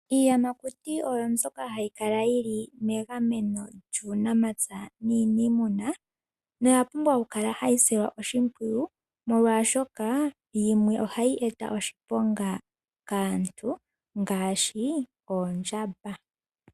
Iiyamakuti oyo ndyoka hayi kala yili megameno lyuunamapya nuuniimuna, oya pumbwa oku kala tayi silwa oshipwiyu, molwaashoka yimwe ohayi eta oshiponga kaantu ngaashi oondjamba.